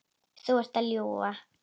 Þú ert að ljúga!